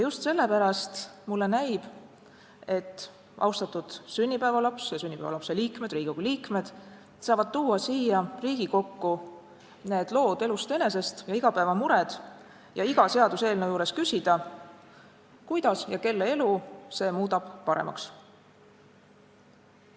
Just sellepärast mulle näib, et austatud sünnipäevalaps ja Riigikogu liikmed saavad tuua siia parlamenti need lood elust enesest ja igapäevamured ning iga seaduseelnõu juures küsida: kuidas ja kelle elu see muudab paremaks?